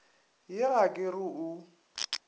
ye ga ke re o